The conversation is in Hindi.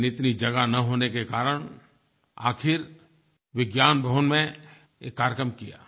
लेकिन इतनी जगह न होने के कारण आखिर विज्ञान भवन में ये कार्यक्रम किया